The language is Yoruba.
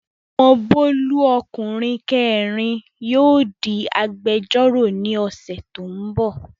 Ọmọ Bólú ọkùnrin kẹẹ̀rin yóò di agbẹ́jọ́rọ̀ ní ọ̀sẹ̀ tó n bọ̀